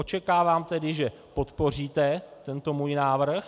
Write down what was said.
Očekávám tedy, že podpoříte tento můj návrh.